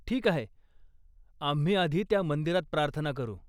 ठीक आहे, आम्ही आधी त्या मंदिरात प्रार्थना करू.